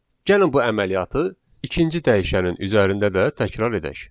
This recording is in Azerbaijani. Gəlin bu əməliyyatı ikinci dəyişənin üzərində də təkrar edək.